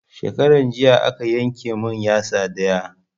Shekaran jiya aka yanke mun yatsa ɗaya